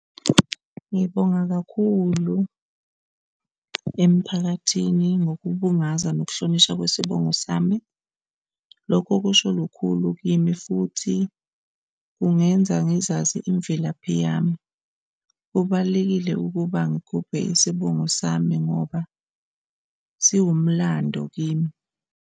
Ngibonga kakhulu emphakathini ngokubungaza nokuhlonishwa kwesibongo sami. Lokho kusho lukhulu kimi futhi kungenza ngizazi imvelaphi yami. Kubalulekile ukuba ngigubhe isibongo sami ngoba siwumlando kimi.